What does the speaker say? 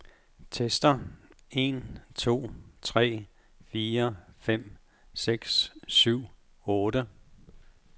Tester en to tre fire fem seks syv otte.